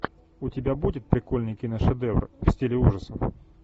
у тебя будет прикольный киношедевр в стиле ужасов